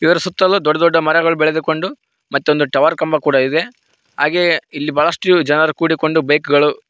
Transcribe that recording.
ಇದರ ಸುತ್ತಲು ದೊಡ್ಡ ದೊಡ್ಡ ಮರಗಳು ಬೆಳೆದುಕೊಂಡು ಮತ್ತೊಂದು ಟವರ್ ಕಂಬ ಕೂಡ ಇದೆ ಹಾಗೆಯೇ ಇಲ್ಲಿ ಬಹಳಷ್ಟು ಜನ ಕೂಡಿಕೊಂಡು ಬೈಕ್ ಗಳು--